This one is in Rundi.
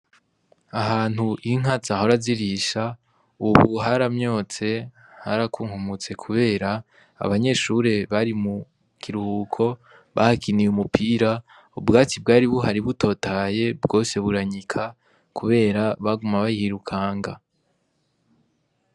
Ahantu inka zahora zirisha, ubu haramyotse harakunkumutse, kubera abanyeshure bari mu kiruhuko bahakiniye umupira ubwatsi bwari buhari butotahaye bwose buranyika, kubera baguma bayirukanga.